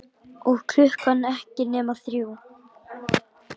Og klukkan ekki nema þrjú.